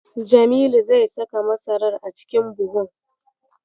Jamilu zai saka masarar a cikin buhun.